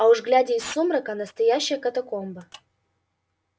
а уж глядя из сумрака настоящая катакомба